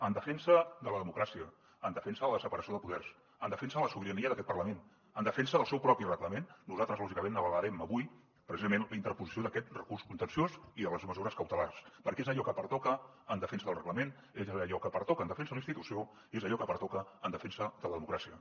en defensa de la democràcia en defensa de la separació de poders en defensa de la sobirania d’aquest parlament en defensa del seu propi reglament nosaltres lògicament avalarem avui precisament la interposició d’aquest recurs contenciós i de les mesures cautelars perquè és allò que pertoca en defensa del reglament és allò que pertoca en defensa de la institució i és allò que pertoca en defensa de la democràcia